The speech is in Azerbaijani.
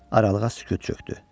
Aralığa sükut çökdü.